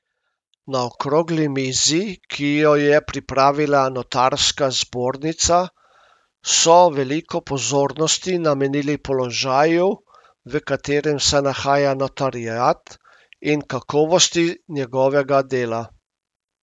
Na okrogli mizi, ki jo je pripravila notarska zbornica, so veliko pozornosti namenili položaju, v katerem se nahaja notariat, in kakovosti njegovega dela.